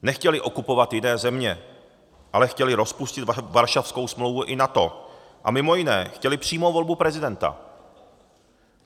Nechtěli okupovat jiné země, ale chtěli rozpustit Varšavskou smlouvu i NATO a mimo jiné chtěli přímou volbu prezidenta.